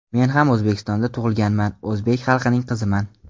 Men ham O‘zbekistonda tug‘ilganman, o‘zbek xalqining qiziman.